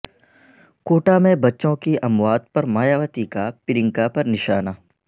quota میں بچوں کی اموات پر مایاوتی کا پرینکا پر نشانہ